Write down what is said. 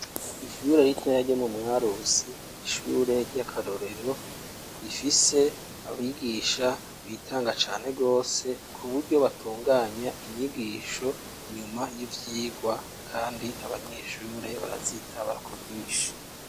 Ishure ritoya ryo mu Mwarusi n'ishure ry'akarorero rifise abigisha bitanga cane gose kuburyo batunganya inyigisho nyuma y'ivyigwa kandi abanyeshure barazitaba ku bwinshi.